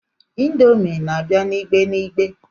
Indomi na-abia n'igbe n'igbe.